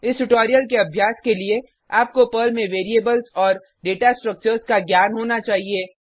इस ट्यूटोरियल के अभ्यास के लिए आपको पर्ल में वेरिएबल्स और डेटा स्ट्रक्चर्स का ज्ञान होना चाहिए